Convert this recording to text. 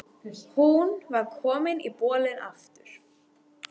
Hún var komin í bolinn aftur.